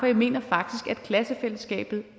jeg mener faktisk at klassefællesskabet